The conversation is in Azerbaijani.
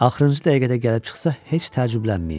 Axırıncı dəqiqədə gəlib çıxsa heç təəccüblənməyin.